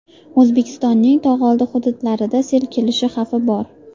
O‘zbekistonning tog‘oldi hududlarida sel kelishi xavfi bor.